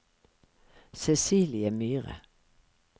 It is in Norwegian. Cecilie Myhre